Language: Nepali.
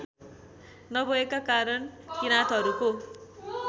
नभएका कारण किराँतहरूको